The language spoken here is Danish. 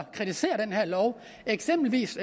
kritisere den her lov eksempelvis